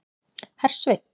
Hersveinn